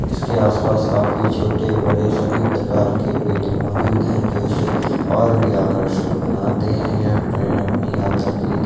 इसके आस-पास काफी छोटे-बड़े सभी प्रकार के पेड़ मौजूद हैं जो इसे और भी आकर्षक बनाते हैं यह प्लेन अपनी यात्रा के लिए--